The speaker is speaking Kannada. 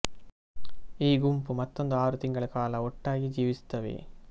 ಈ ಗುಂಪು ಮತ್ತೊಂದು ಆರು ತಿಂಗಳ ಕಾಲ ಒಟ್ಟಾಗಿ ಜೀವಿಸುತ್ತವೆ